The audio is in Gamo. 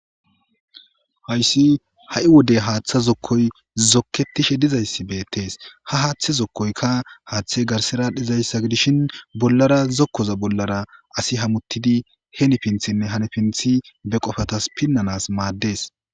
Hayis ha'i wode hatha zokoy zoketishe dizayis betes ha hatha zokoyka hathi garisara dishin bollara zokoza bollara asi hamutidi heni pinithinee ha pinithin pinanas made'es